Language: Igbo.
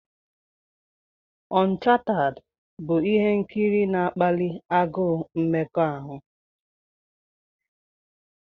Onchatad' bụ ihe nkiri na-akpali agụụ mmekọahụ.